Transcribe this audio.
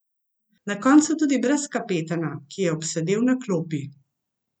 Na koncu tudi brez kapetana, ki je obsedel na klopi.